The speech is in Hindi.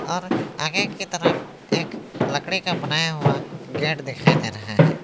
और आगे की तरफ एक लकड़ी का बनाया हुआ गेट दिखाई दे रहा है।